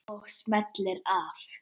Og smellir af.